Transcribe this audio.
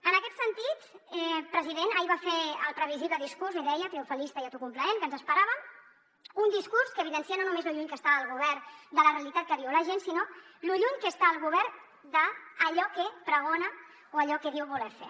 en aquest sentit president ahir va fer el previsible discurs l’hi deia triomfalista i autocomplaent que ens esperàvem un discurs que evidencia no només lo lluny que està el govern de la realitat que viu la gent sinó lo lluny que està el govern d’allò que pregona o allò que diu voler fer